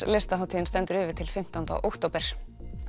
listahátíðin stendur yfir til fimmtánda október